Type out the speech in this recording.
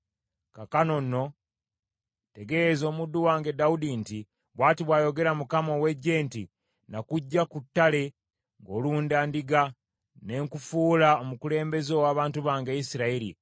“Kaakano nno tegeeza omuddu wange Dawudi nti, ‘Bw’ati bw’ayogera Mukama ow’eggye nti, nakuggya ku ttale ng’olunda ndiga, ne nkufuula omukulembeze ow’abantu bange Isirayiri.